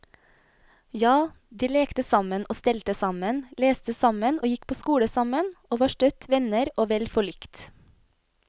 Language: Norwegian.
Ja, de lekte sammen og stelte sammen, leste sammen og gikk på skole sammen, og var støtt venner og vel forlikt.